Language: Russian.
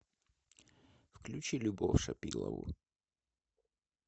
включи любовь шапилову